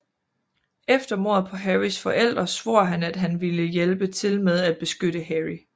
Efter mordet på Harrys forældre svor han at han ville hjælpe til med at beskytte Harry